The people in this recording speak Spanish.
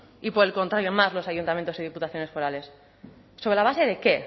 y por el contrario más los ayuntamientos y diputaciones forales sobre la base de qué